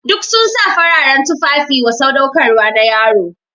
Duk sun sa fararen tufafi wa sadaukarwa na yaro.